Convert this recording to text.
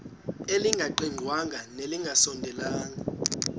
elingaqingqwanga nelinge kasondeli